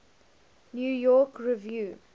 new york review